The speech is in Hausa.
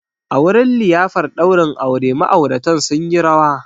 A wurin liyafar daurin aure, ma'auratan sun yi rawa